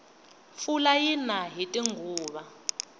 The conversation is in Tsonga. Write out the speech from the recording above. pfula yina hiti nguva